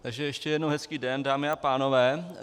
Takže ještě jednou hezký den, dámy a pánové.